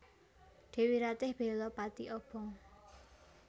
Dèwi Ratih bela pati obong